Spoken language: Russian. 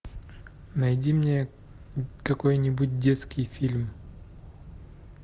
найди мне какой нибудь детский фильм